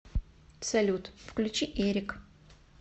салют включи эрик